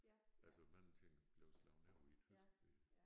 Altså mange ting blev slået over i tysk ved